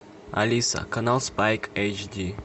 алиса канал спайк эйч ди